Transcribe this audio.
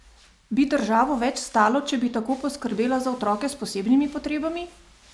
Bi državo več stalo, če bi tako poskrbela za otroke s posebnimi potrebami?